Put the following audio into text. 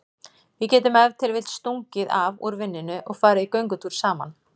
Við getum ef til vill stungið af úr vinnunni og farið í göngutúr saman.